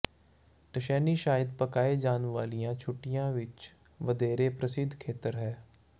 ਟਸੈਂਨੀ ਸ਼ਾਇਦ ਪਕਾਏ ਜਾਣ ਵਾਲੀਆਂ ਛੁੱਟੀਆਂ ਲਈ ਵਧੇਰੇ ਪ੍ਰਸਿੱਧ ਖੇਤਰ ਹੈ